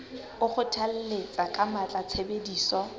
o kgothalletsa ka matla tshebediso